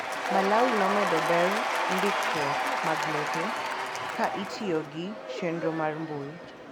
Malawi nomedo ber ndikruok mag lope ka itiyo gi chenro mar mbuil.